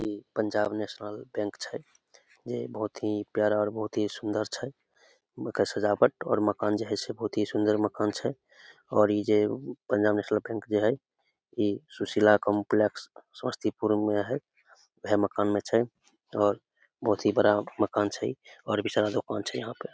इ Punjab national bank छै जे बहुत ही प्यारा बहुत ही सुंदर छै एमे के सजावट और मकान जे हेय बहुत ही सुन्दर मकान छै और इ जे पंजाब नेशनल बैंक जे हेय इ सुशीला कॉम्प्लेक्स समस्तीपुर में हेय ऊहे मकान में छै बहुत ही बड़ा मकान छै और भी सारा दोकान छै यहां पे --